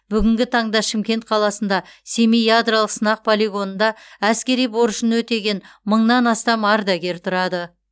бүгінгі таңда шымкент қаласында семей ядролық сынақ полигонында әскери борышын өтеген мыңнан астам ардагер тұрады